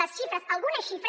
les xifres algunes xifres